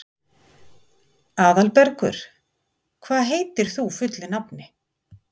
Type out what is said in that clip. Aðalbergur, hvað heitir þú fullu nafni?